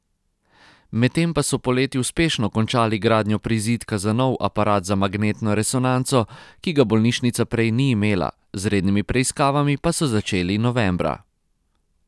Medtem pa so poleti uspešno končali gradnjo prizidka za nov aparat za magnetno resonanco, ki ga bolnišnica prej ni imela, z rednimi preiskavami pa so začeli novembra.